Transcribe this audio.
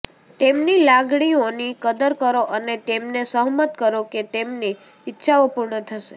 તેમની લાગણીઓની કદર કરો અને તેમને સહમત કરો કે તેમની ઇચ્છાઓ પૂર્ણ થશે